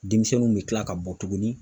Denmisɛnninw bɛ tila ka bɔ tuguni